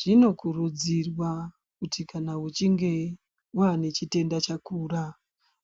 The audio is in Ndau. Zvinokurudzirwa kuti kana uchinge uine chitenda chakura